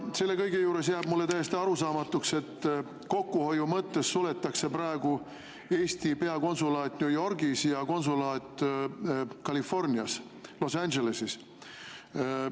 Selle kõige juures jääb mulle täiesti arusaamatuks, et kokkuhoiu huvides suletakse praegu Eesti peakonsulaat New Yorgis ja konsulaat Californias Los Angeleses.